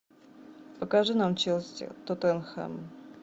покажи нам челси тоттенхэм